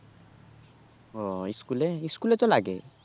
ও school এ school এ তো লাগে